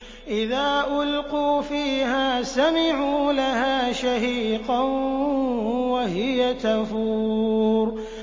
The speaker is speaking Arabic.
إِذَا أُلْقُوا فِيهَا سَمِعُوا لَهَا شَهِيقًا وَهِيَ تَفُورُ